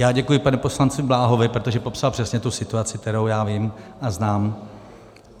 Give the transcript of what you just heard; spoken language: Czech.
Já děkuji panu poslanci Bláhovi, protože popsal přesně tu situaci, kterou já vím a znám.